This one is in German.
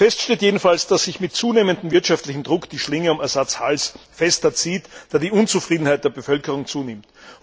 Fest steht jedenfalls, dass sich mit zunehmendem wirtschaftlichen Druck die Schlinge um Assads Hals fester zuzieht, da die Unzufriedenheit der Bevölkerung zunimmt.